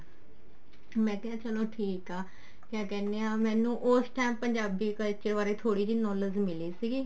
ਮੈਂ ਕਿਹਾ ਚਲੋ ਠੀਕ ਆ ਕਿਆ ਕਹਿਨੇ ਆ ਮੈਨੂੰ ਉਸ time ਪੰਜਾਬੀ culture ਬਾਰੇ ਥੋੜੀ ਜੀ knowledge ਮਿਲੀ ਸੀਗੀ